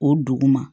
O duguma